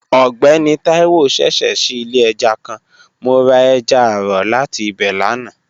Ọgbẹni Taiwo ṣẹṣẹ ṣii ile ẹja kan, mo ra ẹja aro lati ibẹ lana.